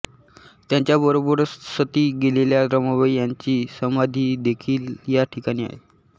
यांच्याबरोबर सती गेलेल्या रमाबाई यांची समाधीदेखील या ठिकाणी आहे